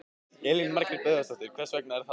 Elín Margrét Böðvarsdóttir: Hvers vegna er það?